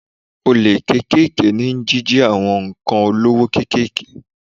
Olè kéékèèké ni jíjí àwọn ǹkan olówó kékeré.